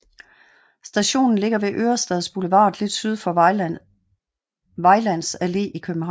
Stationen ligger ved Ørestads Boulevard lidt syd for Vejlands Allé i København